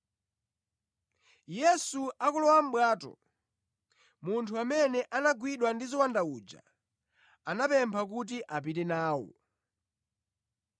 Yesu akulowa mʼbwato, munthu amene anagwidwa ndi ziwanda uja anamupempha kuti apite nawo.